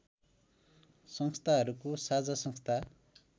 संस्थाहरूको साझा संस्था